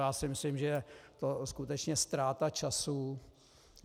Já si myslím, že je to skutečně ztráta času.